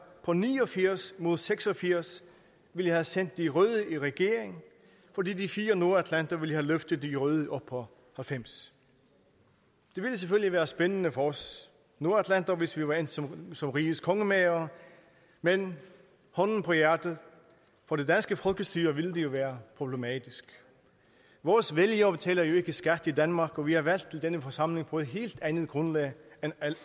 på ni og firs mod seks og firs ville have sendt de røde i regering fordi de fire nordatlanter ville have løftet de røde op på halvfems det ville selvfølgelig være spændende for os nordatlanter hvis vi var endt som som rigets kongemagere men hånden på hjertet for det danske folkestyre ville det jo være problematisk vores vælgere betaler jo ikke skat i danmark og vi er valgt i denne forsamling på et helt andet grundlag